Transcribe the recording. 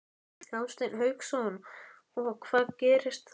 Hafsteinn Hauksson: Og hvað gerist þá?